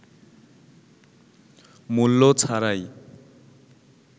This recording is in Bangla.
মূল্য ছাড়াই